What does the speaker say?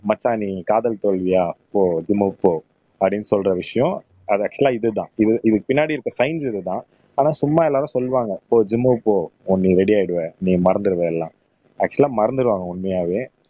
மச்சான் நீ காதல் தோல்வியா போ ஜிம்க்கு போ அப்படின்னு சொல்ற விஷயம் அது ஆக்சுவலா இதுதான் இது இதுக்கு பின்னாடி இருக்க சயின்ஸ் இதுதான் ஆனா சும்மா எல்லாரும் சொல்லுவாங்க போ ஜிம்க்கு போ நீ ரெடி ஆயிடுவே நீ மறந்துடுவ எல்லாம் ஆக்சுவலா மறந்திருவாங்க உண்மையாவே